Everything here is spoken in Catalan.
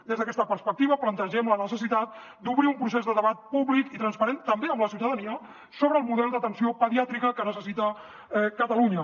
des d’aquesta perspectiva plantegem la necessitat d’obrir un procés de debat públic i transparent també amb la ciutadania sobre el model d’atenció pediàtrica que necessita catalunya